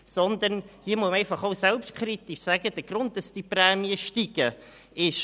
Hier muss man vielmehr einfach auch selbstkritisch sagen, welches der Grund für diesen Prämienanstieg ist: